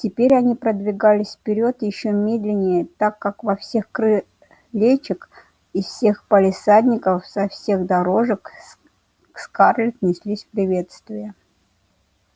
теперь они продвигались вперёд ещё медленнее так как со всех крылечек из всех палисадников со всех дорожек к скарлетт неслись приветствия